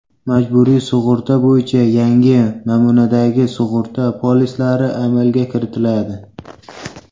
Majburiy sug‘urta bo‘yicha yangi namunadagi sug‘urta polislari amalga kiritiladi.